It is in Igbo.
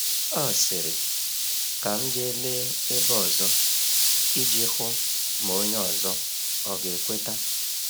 O sịrị, “Ka m jee lee ebe ọzọ,” iji hụ ma onye ọzọ ọga ekweta.